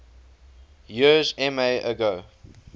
years ma ago